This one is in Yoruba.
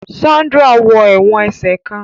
Sandra wọ èwòn ẹsẹ kán